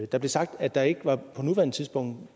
der blev sagt at der ikke på nuværende tidspunkt